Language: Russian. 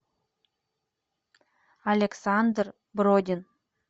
александр бродин